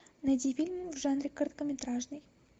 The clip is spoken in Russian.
найди фильм в жанре короткометражный